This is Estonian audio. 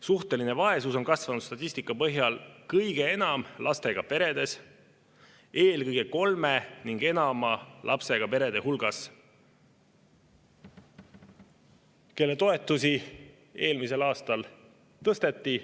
Suhteline vaesus on kasvanud statistika põhjal kõige enam lastega peredes, eelkõige kolme ja enama lapsega peredes, kelle toetusi eelmisel aastal tõsteti.